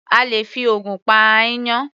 A lè fi ògùn pa aáyán.